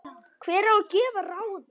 Hver á að gefa ráðin?